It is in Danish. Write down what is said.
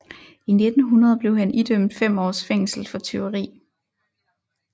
I 1900 blev han idømt fem års fængsel for tyveri